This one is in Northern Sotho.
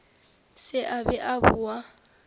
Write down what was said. se a be a boa